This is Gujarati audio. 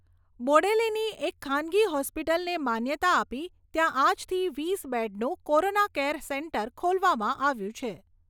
બોડેલીની એક ખાનગી હોસ્પિટલને માન્યતા આપી ત્યાં આજથી વીસ બેડનું કોરોના કેર સેન્ટર ખોલવામાં આવ્યું છે.